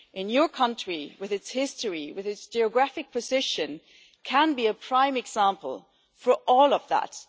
Your country, with its history and its geographical position, can be a prime example for all of that.